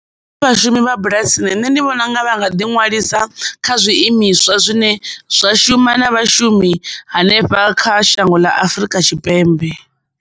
Nṋe vhashumi vha bulasini nṋe ndi vhona unga vha nga ḓi ṅwalisa kha zwiimiswa zwine zwa shuma na vhashumi hanefha kha shango ḽa Afurika Tshipembe.